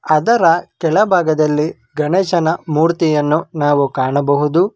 ಅದರ ಕೆಳಭಾಗದಲ್ಲಿ ಗಣೇಶನ ಮೂರ್ತಿಯನ್ನು ನಾವು ಕಾಣಬಹುದು.